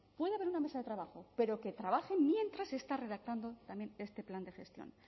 puede haber una mesa de trabajo pero que trabajen mientras se está redactando también este plan de gestión